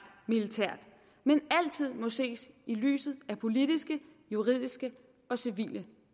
militært men altid må ses i lyset af politiske juridiske og civile